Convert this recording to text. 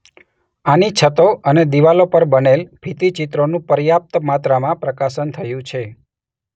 આની છતો અને દીવાલો પર બનેલ ભિત્તિ ચિત્રોનું પર્યાપ્ત માત્રામાં પ્રકાશન થયું છે.